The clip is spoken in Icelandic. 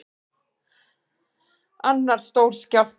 Annar stór skjálfti